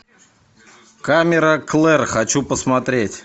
камера клэр хочу посмотреть